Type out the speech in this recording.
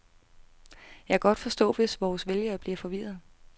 Jeg kan godt forstå, hvis vores vælgere bliver forvirrede.